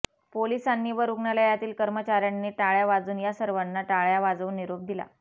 पोलिसांनी व रुग्णालयातील कर्मचाऱयांनी टाळ्या वाजून या सर्वांना टाळ्या वाजवून निरोप दिला